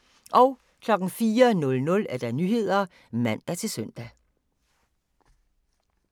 04:00: Nyhederne (man-søn)